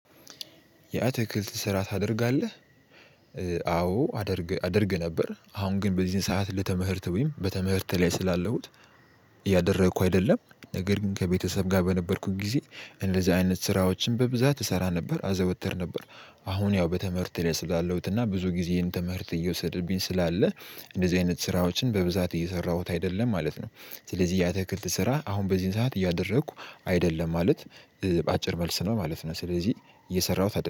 የአትክልት ስራ ታደርጋለህ? አዎ አደርግ ነበር አሁን ግን በዚህን ሰዓት በትምህርት ወይም በትምህርት ላይ ስላለውት። እያደረኩ አይደለም ነገር ግን ከቤተሰብ ጋር በነበርኩኝ ጊዜ እንደዚህ አይነት ስራዎችን በብዛት እሰራ ነበር አዘወተር ነበር። አሁን ያው በትምርቴ ላይ ስላለሁት እና ብዙ ጊዜዬን ትምህርት እየወሰደብኝ ስላለ አይነት ስራዎችን በብዛት እየሰራሁት አይደለም ማለት ነው። ስለዚህ የአታክልት ስራ አሁን በዚህን ሰዓት እያደረኩ አይደለም ማለት በአጭር መልስ ነው ማለት ነው። ስለዚህ እየሰራሁት አይደለም